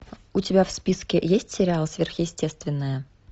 у тебя в списке есть сериал сверхъестественное